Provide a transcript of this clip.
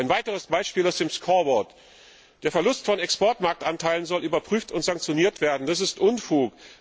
Ein weiteres Beispiel aus dem scoreboard Der Verlust von Exportmarktanteilen soll überprüft und sanktioniert werden. Das ist Unfug.